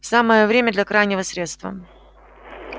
самое время для крайнего средства